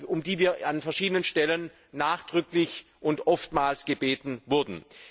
um die wir an verschiedenen Stellen nachdrücklich und oftmals gebeten wurden.